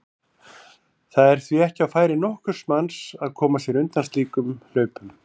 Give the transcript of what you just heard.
Það er því ekki á færi nokkurs manns að koma sér undan slíkum hlaupum.